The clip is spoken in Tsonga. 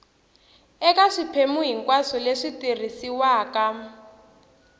eka swiphemu hinkwaswo leswi tirhisiwaka